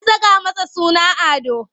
An saka masa suna Ado.